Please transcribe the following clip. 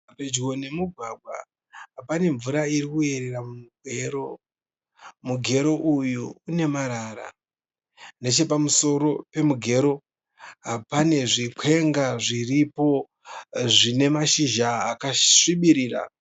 Pedyo nemumugwagwa. Pane mvura iri kuyerera mumugero. Mugero uyu une marara. Nechepamusoro pemugero pane zvikwenga zviripo zvine mashizha akasvibirira.